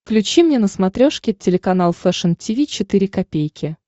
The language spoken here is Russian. включи мне на смотрешке телеканал фэшн ти ви четыре ка